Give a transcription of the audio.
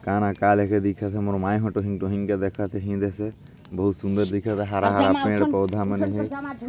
का ना दिखे बहुत सुन्दर दिखे हरा-हरा पेड़ पौधा मन हे।